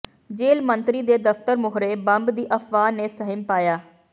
ਜੇਲ੍ਹ ਮੰਤਰੀ ਦੇ ਦਫਤਰ ਮੂਹਰੇ ਬੰਬ ਦੀ ਅਫਵਾਹ ਨੇ ਸਹਿਮ ਪਾਇਆ